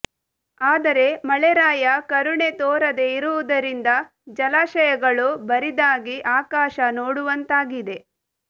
ಆದರೆ ಮಳೆರಾಯ ಕರುಣೆ ತೋರದೇ ಇರುವುದರಿಂದ ಜಲಾಶಯಗಳು ಬರಿದಾಗಿ ಆಕಾಶ ನೋಡುವಂತಾಗಿದೆ